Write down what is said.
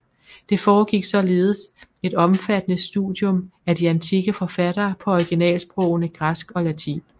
Der foregik således et omfattende studium af de antikke forfattere på originalsprogene græsk og latin